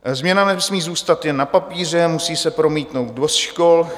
Změna nesmí zůstat jen na papíře, musí se promítnout do škol.